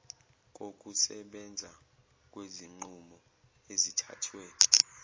kokusebenza kwezinqumo ezithathwe